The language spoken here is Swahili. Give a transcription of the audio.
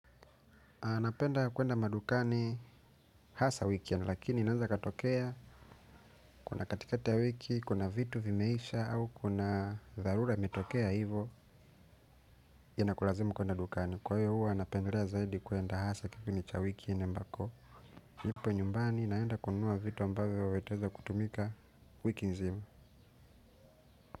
Anapenda kuenda madukani hasa weekend lakini naenza katokea kuna katikati ya wiki kuna vitu vimeisha au kuna dharura imetokea hivo inakulazimu kuenda dukani kwa hiyo huo napendelea zaidi kuenda hasa kipindi cha wikini ambako nipo nyumbani naenda kununua vitu ambavyo vitaeza kutumika wiki nzima.